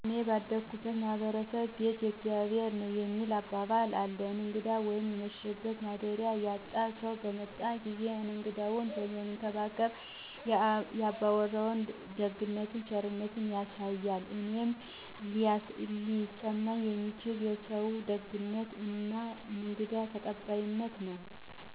እኔ ባደኩበት ማህበረሰብ "ቤት የእግዚአብሔር ነዉ" የሚባል አባባል አለ እንግዳ ወይም የመሸበት ማደሪያ ያጣ ሰዉ በመጣ ጊዜ እንግዳዉን መንከባከብ የ አባወራዉን ደግነት ቸርነት ያሳያል እኔም ሊሰማኝ የሚችል የሰዉየዉ ደግነት እና እንግዳ ተቀባይነት ነዉ።